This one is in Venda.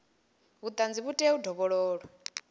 vhuṱanzi vhu tea u dovhololwa